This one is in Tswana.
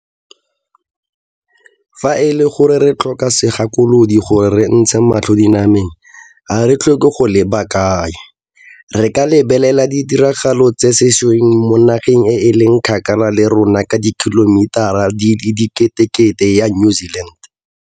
Fa e le gore re tlhoka segakolodi gore re ntshe matlho dinameng, ga re tlhoke go leba kae, re ka lebelela ditiragalo tsa sešweng mo nageng e e leng kgakala le rona ka dikhilomitara di le diketekete ya New Zealand.